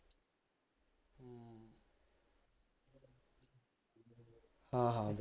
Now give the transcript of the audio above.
ਹਾਂ ਹਾ ਬਈ